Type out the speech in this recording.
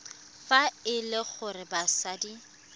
fa e le gore batsadi